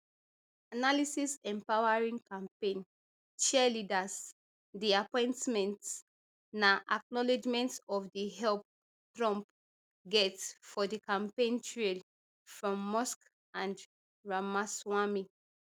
analysis empowering campaign cheerleaders di appointments na acknowledgment of di help trump get for di campaign trail from musk and ramaswamy